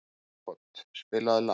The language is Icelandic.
Aagot, spilaðu lag.